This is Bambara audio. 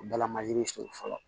U bɛɛ lamajiri suru fɔlɔ